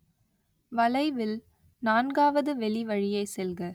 வளைவில், நான்காவது வெளிவழியே செல்க